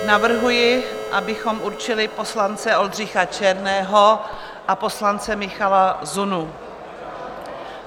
Navrhuji, abychom určili poslance Oldřicha Černého a poslance Michala Zunu.